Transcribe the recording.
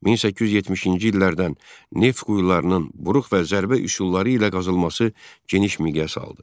1870-ci illərdən neft quyularının buruq və zərbə üsulları ilə qazılması geniş miqyas aldı.